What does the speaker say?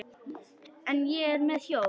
En ég er með hjól.